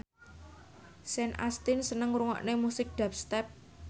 Sean Astin seneng ngrungokne musik dubstep